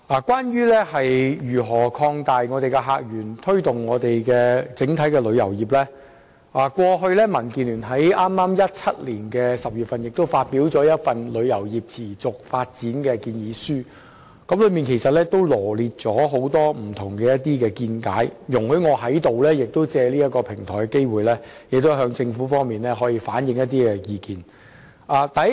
關於如何擴大客源，推動香港的旅遊業，民主建港協進聯盟於2017年10月發表了《香港旅遊業持續發展建議書》，當中羅列了很多見解，容許我藉此機會向政府當局反映一些意見。